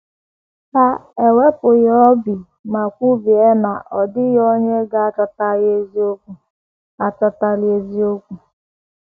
Ha ewepụghị obi ma kwubie na ọ dịghị onye ga - achọtali eziokwu. achọtali eziokwu.